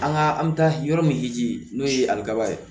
An ka an bɛ taa yɔrɔ min jiji n'o ye aliba ye